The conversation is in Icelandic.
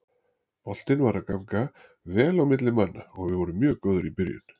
Boltinn var að ganga vel á milli manna og við vorum mjög góðir í byrjun.